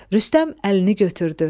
Rüstəm əlini götürdü.